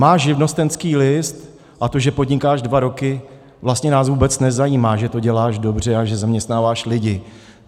Máš živnostenský list a to že podnikáš dva roky, vlastně nás vůbec nezajímá, že to děláš dobře a že zaměstnáváš lidi.